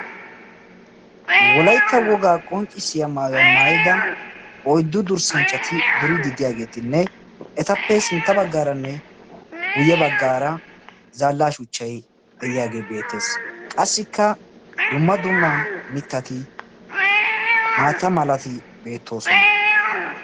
wolaytta woga qoncisiyaa maayuwaa maayida oyddu durssanchatti duridi de"iyagetti beettosona ettappe guye bagar dumma dumma shuchatine qassikka maatati beettosona.